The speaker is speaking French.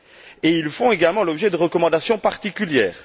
Et ils font également l'objet de recommandations particulières.